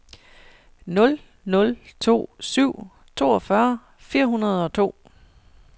nul nul to syv toogfyrre fire hundrede og to